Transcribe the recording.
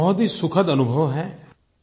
ये बहुत ही सुखद अनुभव है